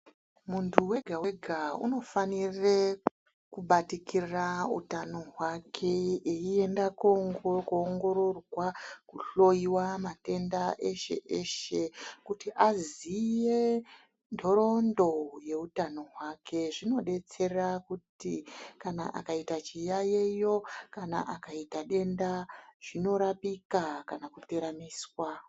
Muntu wega wega unofanire kubatikira utano hwake einda koongororwa, kuhloyiwa matenda eshe eshe kuti aziye nhoroondo yeutano hwake. Zvinodetsera kuti kana akaita chiyaiyo kana akaita denda zvinorapika kana kuteramiswa.